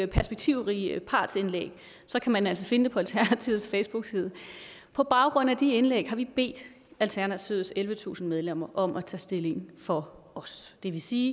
perspektivrige partsindlæg så kan man altså finde på dem alternativets facebookside på baggrund af de indlæg har vi bedt alternativets ellevetusind medlemmer om at tage stilling for os det vil sige